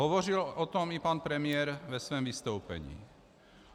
Hovořil o tom i pan premiér ve svém vystoupení.